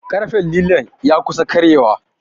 ƙarfen lilon ya kusa karyewa